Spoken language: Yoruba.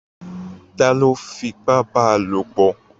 Ta ló fipá bá lopọ̀?